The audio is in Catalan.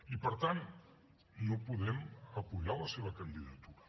i per tant no podem donar suport a la seva candidatura